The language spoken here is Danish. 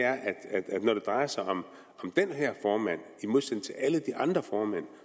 drejer sig om den her formand i modsætning til alle de andre formænd